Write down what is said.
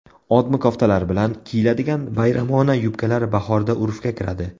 Odmi koftalar bilan kiyiladigan bayramona yubkalar bahorda urfga kiradi .